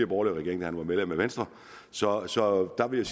borgerlige regering da han var medlem af venstre så så der vil